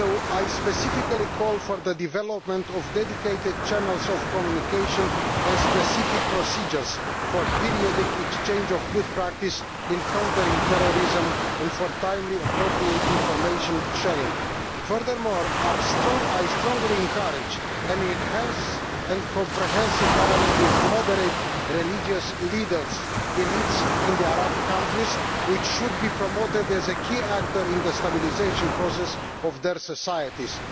I specifically call for the development of dedicated channels of communication and specific procedures for the periodic exchange of good practice in countering terrorism, and for timely appropriate information sharing. Furthermore, I strongly encourage an enhanced and comprehensive dialogue with moderate religious leaders, elites in the Arab countries, who should be promoted as a key actor in the stabilisation process of their societies.